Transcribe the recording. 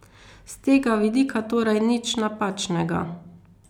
S tega vidika torej nič napačnega.